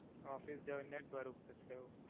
office જઈને જ ભરવું પડસે એવું?